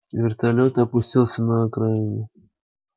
вертолёт опустился на окраине